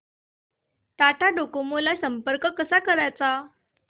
Tata Docomo ला संपर्क कसा करायचा